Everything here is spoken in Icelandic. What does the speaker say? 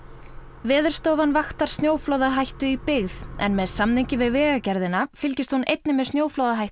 Veðurstofan vaktar snjóflóðahættu í byggð en með samningi við Vegagerðina fylgist hún einnig með snjóflóðahættu